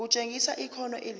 kutshengisa ikhono elihle